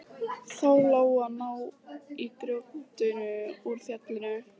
Þá lá á að ná grjótinu úr fjallinu.